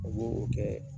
O b'o o kɛ